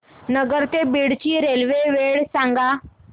नगर ते बीड ची रेल्वे वेळ सांगा